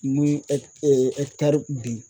Ni ye ben